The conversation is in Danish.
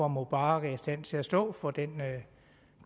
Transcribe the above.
mubarak er i stand til at stå for den